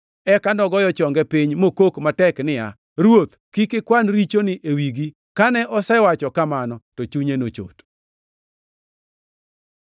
Eka nogoyo chonge piny mokok matek niya, “Ruoth, kik ikwan richoni e wigi.” Kane osewacho kamano, to chunye nochot.